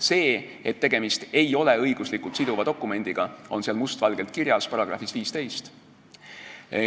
See, et tegemist ei ole õiguslikult siduva dokumendiga, on must valgel kirjas §-s 15.